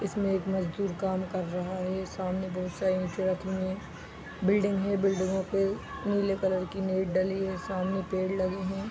इसमें एक मजदूर काम कर रहा है सामने बहुत सारे ईटें रखी हुई है बिल्डिंग है बिल्डिंगो पे नीले कलर की नेट डली है सामने पेड़ लगे हैं।